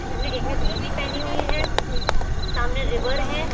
इसमें एक ने धोती पहनी हुई है सामने रिवर है।